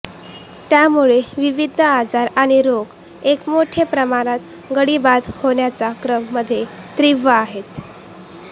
त्यामुळे विविध आजार आणि रोग एक मोठे प्रमाणात गडी बाद होण्याचा क्रम मध्ये तीव्र आहेत